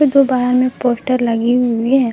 दो बाहर में पोस्टर लगी हुई है।